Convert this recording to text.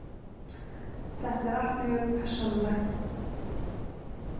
Þetta er allt mjög persónulegt.